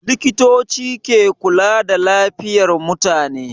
Likitoci ke kula da lafiyar mutane.